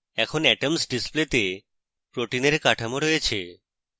এখন atoms display তে protein we কাঠামো রয়েছে